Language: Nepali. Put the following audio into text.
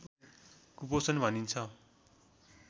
कुपोषण भनिन्छ